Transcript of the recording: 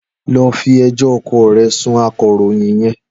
Lọ fi ẹjọ́ ọkọ rẹ sun akọ̀ròyìn yẹn.